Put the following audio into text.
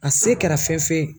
A se kɛra fɛn fɛn ye.